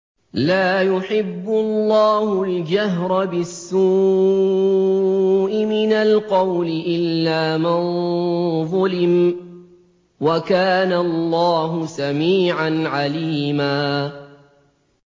۞ لَّا يُحِبُّ اللَّهُ الْجَهْرَ بِالسُّوءِ مِنَ الْقَوْلِ إِلَّا مَن ظُلِمَ ۚ وَكَانَ اللَّهُ سَمِيعًا عَلِيمًا